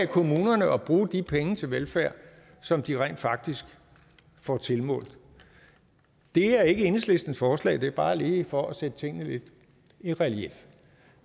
kommunerne at bruge de penge til velfærd som de rent faktisk får tilmålt det er ikke enhedslistens forslag det er bare lige for at sætte tingene lidt i relief